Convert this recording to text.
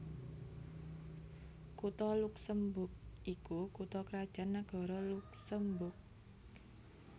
Kutha Luksemburg iku kutha krajan nagara Luksemburg